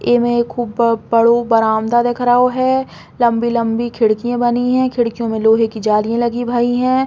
इ में खूब ब-बड़ो बरामदा दिख रहो है। लम्बी-लम्बी खड़की बनी हैं। खडकियों में लोहे के जाली लगी भई हैं।